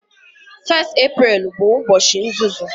1 Eprel bụ ụbọchị nzuzu